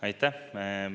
Aitäh!